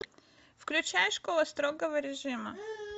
включай школа строгого режима